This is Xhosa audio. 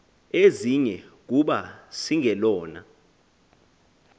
ezinye kuba singelona